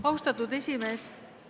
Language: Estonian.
Austatud esimees!